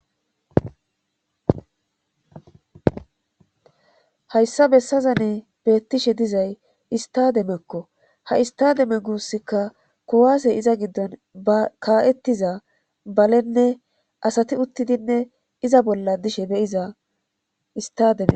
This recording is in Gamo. Hayssa bessaza ne beettishe dizay istademekko ha istademe guusikka kowaase iza giddon akaa'ettiza balenne asati uttidinne iza bolla dishe beyiza istademe.